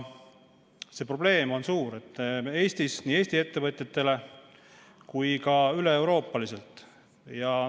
See probleem on suur nii Eesti ettevõtjatele kui ka üleeuroopaliselt.